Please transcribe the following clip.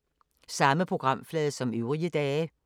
Samme programflade som øvrige dage